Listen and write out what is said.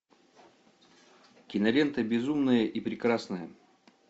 кинолента безумная и прекрасная